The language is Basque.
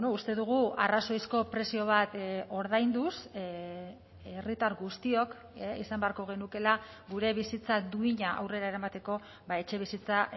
uste dugu arrazoizko prezio bat ordainduz herritar guztiok izan beharko genukeela gure bizitza duina aurrera eramateko etxebizitza